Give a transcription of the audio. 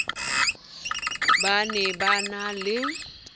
ba ne ba na le